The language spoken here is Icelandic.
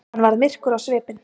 Hann varð myrkur á svipinn.